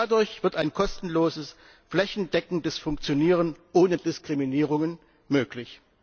Nur dadurch wird ein kostenloses, flächendeckendes Funktionieren ohne Diskriminierungen möglich.